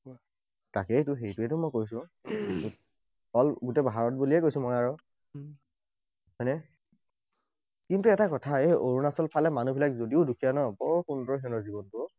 তাকেইতো, সেইটোৱেইতো মই কৈছো। All গোটেই ভাৰত বুলিয়ে কৈছো মই আৰু। হয় নে? কিন্তু এটা কথা, এই অৰুণাচল ফালে মানুহবিলাক যদিও দুখীয়া নহয়, বৰ সুন্দৰ সিহঁতৰ জীৱনটো অ।